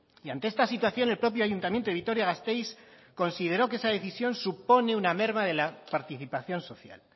y ante esta situación el propio ayuntamiento de vitoria gasteiz consideró que esa decisión supone una merma de la participación social